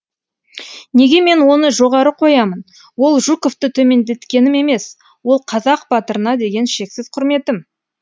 неге мен оны жоғары қоямын ол жуковты төмендеткенім емес ол қазақ батырына деген шексіз құрметім